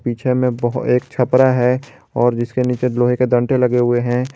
पीछे में बहो एक छपरा है और जिसके नीचे लोहे के दंडे लगे हुए हैं।